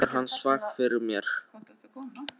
Svona er hann svag fyrir mér.